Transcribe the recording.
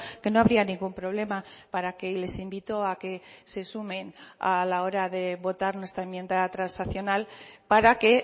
que no habría ningún problema para que les invito a que se sumen a la hora de votar nuestra enmienda transaccional para que